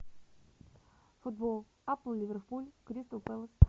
футбол апл ливерпуль кристал пэлас